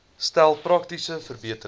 stel praktiese verbeterings